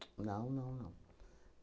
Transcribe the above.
Não, não, não.